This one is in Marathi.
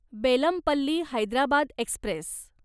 बेलमपल्ली हैदराबाद एक्स्प्रेस